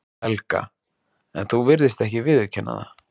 Helga: En þú virðist ekki viðurkenna það?